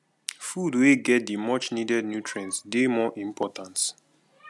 food wey get the much needed nutrients dey more important